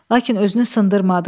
Lakin özünü sındırmadı.